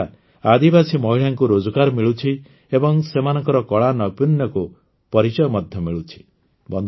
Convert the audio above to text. ଏହାଦ୍ୱାରା ଆଦିବାସୀ ମହିଳାଙ୍କୁ ରୋଜଗାର ମିଳୁଛି ଏବଂ ସେମାନଙ୍କ କଳାନୈପୁଣ୍ୟକୁ ପରିଚୟ ମଧ୍ୟ ମିଳୁଛି